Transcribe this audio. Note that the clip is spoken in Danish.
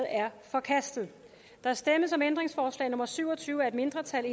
er forkastet der stemmes om ændringsforslag nummer syv og tyve af et mindretal